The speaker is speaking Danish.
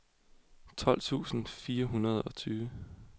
tolv tusind fire hundrede og tyve